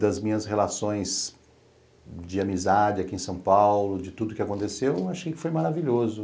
Das minhas relações de amizade aqui em São Paulo, de tudo que aconteceu, achei que foi maravilhoso.